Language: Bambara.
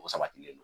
O sabatilen don